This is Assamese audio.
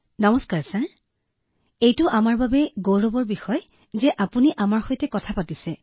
নমস্কাৰ মহোদয় নমস্কাৰ মহোদয় আপুনি আমাৰ সৈতে কথা পাতি থকাটো আমাৰ বাবে গৌৰৱৰ বিষয়